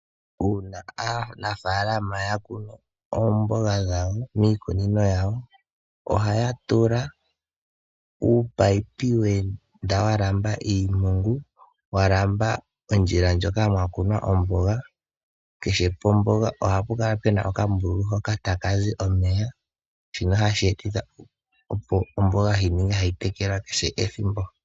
Uuna aanafalama yakunu oomboga dhawo miikunino yawo ohaya tula uumunino weenda walamba iimpungu moka mwakunwa omboga. Kehe lomboga ohapu kala puna okambululu hoka takazi omeya. Shino ohashi etitha opo omboga yi kale hayi tekelwa kehe ethimbo.